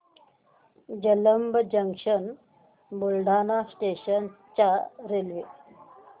Jalamb junction ते Buldhana station च्या railway